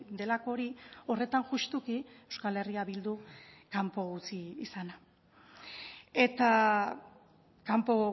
delako hori horretan justuki euskal herria bildu kanpo utzi izana eta kanpo